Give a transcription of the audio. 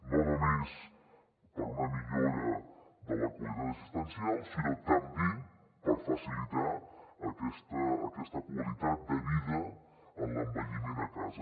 no només per una millora de la qualitat assistencial sinó també per facilitar aquesta qualitat de vida en l’envelliment a casa